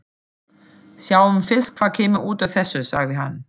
Sjáum fyrst hvað kemur út úr þessu, sagði hann.